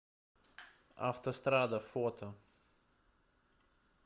автострада фото